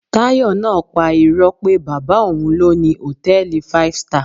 Tayo náà pa irọ́ pé bàbá òun ló ni hòtẹ́ẹ̀lì five star